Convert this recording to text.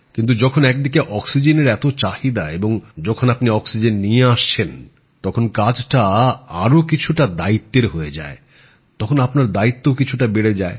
কিন্তু যখন একদিকে অক্সিজেনের এত চাহিদা এবং যখন আপনি অক্সিজেন নিয়ে আসছেন তখন কাজটা আরও কিছুটা দায়িত্বের হয়ে যায় তখন আপনার দায়িত্বও কিছুটা বেড়ে যায়